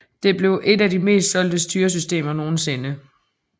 Det blev et af de meste solgte styresystemer nogensinde